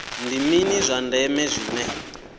ndi mini zwa ndeme zwine